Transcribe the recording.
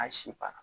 An si ban na